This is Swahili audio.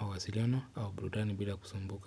mawasiliano au burudani bila kusumbuka.